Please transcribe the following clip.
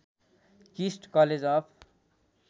KIST college of